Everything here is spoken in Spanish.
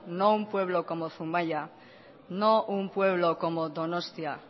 no un pueblo como zumaia no un pueblo como donostia